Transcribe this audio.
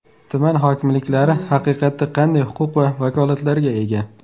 Tuman hokimliklari haqiqatda qanday huquq va vakolatlarga ega?